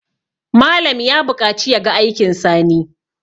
Malam ya buƙaci ya ga aikin Sani